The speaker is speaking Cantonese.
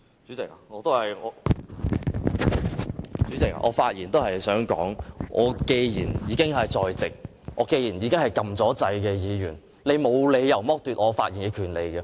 主席，我發言也是想說，我既然已經在席，我既然是已經按下按鈕的議員，你沒有理由剝奪我發言的權利。